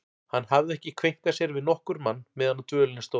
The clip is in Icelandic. Hann hafði ekki kveinkað sér við nokkurn mann meðan á dvölinni stóð.